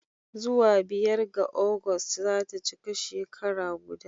Zuwa biyar ga Agusta za ta cika shekara guda